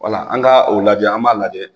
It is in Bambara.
Wala an ka o labi an b'a lajɛ